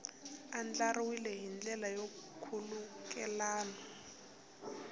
andlariwile hi ndlela ya nkhulukelano